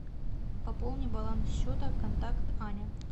пополни баланс счета контакт аня